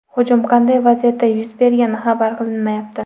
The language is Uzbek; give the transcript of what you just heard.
Hujum qanday vaziyatda yuz bergani xabar qilinmayapti.